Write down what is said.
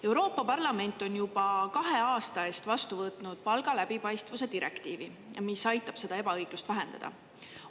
Euroopa Parlament on juba kahe aasta eest vastu võtnud palga läbipaistvuse direktiivi, mis aitab seda ebaõiglust vähendada.